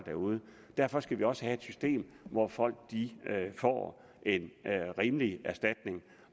derude og derfor skal vi også have et system hvor folk får en rimelig erstatning